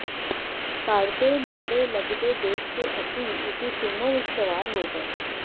ਘਰ ਦੇ ਨੇੜੇ ਲੱਗਦੇ ਦੇਖ ਕੇ ਅਸੀਂ ਉਸ ਦੀ ਸੂਮੋਂ ਵਿਚ ਸਵਾਰ ਹੋ ਗਏ